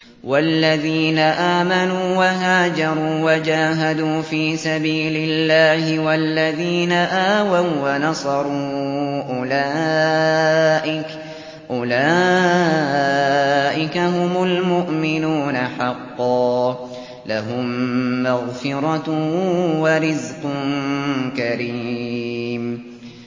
وَالَّذِينَ آمَنُوا وَهَاجَرُوا وَجَاهَدُوا فِي سَبِيلِ اللَّهِ وَالَّذِينَ آوَوا وَّنَصَرُوا أُولَٰئِكَ هُمُ الْمُؤْمِنُونَ حَقًّا ۚ لَّهُم مَّغْفِرَةٌ وَرِزْقٌ كَرِيمٌ